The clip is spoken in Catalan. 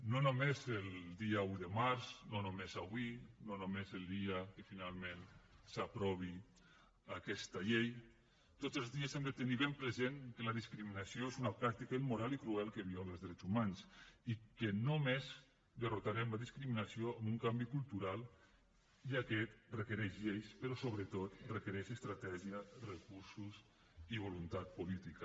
no només el dia un de març no només avui no només el dia que finalment s’aprovi aquesta llei tots els dies hem de tenir present que la discriminació és una pràctica immoral i cruel que viola els drets humans i que només derrotarem la discriminació amb un canvi cultural i aquest requereix lleis però sobretot requereix estratègia recursos i voluntat política